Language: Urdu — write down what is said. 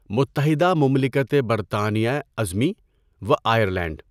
متحده مملکت برطانیۂ عظمی و آئرلینڈ